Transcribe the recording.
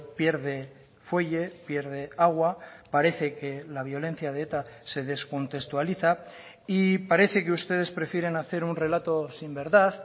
pierde fuelle pierde agua parece que la violencia de eta se descontextualiza y parece que ustedes prefieren hacer un relato sin verdad